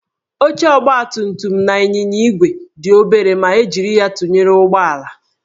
Oche ọgbatumtum na ịnyịnya igwe dị obere ma e jiri ya tụnyere ụgbọala